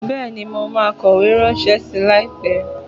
Bẹẹni, mo ma kowe rànse sí, laípe